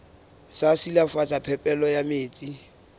sa silafatsa phepelo ya metsi